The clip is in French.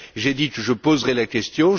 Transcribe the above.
J'ai dit que je poserais la question.